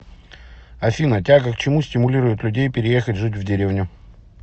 афина тяга к чему стимулирует людей переехать жить в деревню